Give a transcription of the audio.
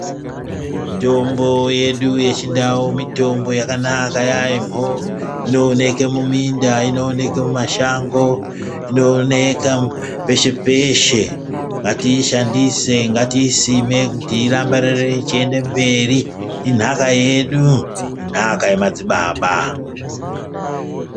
Mitombo yedu yechiantu yakanaka yamho inooneke muminda inooneke mumashango inooneka peshe peshe ngatiishandise ngatiisime kuti irambe yeienderera mberi inhaka yedu inhaka yemadzibaba .